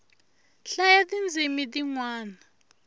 hlayaa ti ndzimi ti nwana